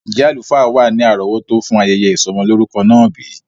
Njẹ alufaa wa ni arọwọto fun ayẹyẹ isọmọ lorukọ naa bi?